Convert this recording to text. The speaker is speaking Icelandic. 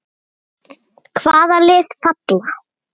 Álitið: Hvaða lið falla?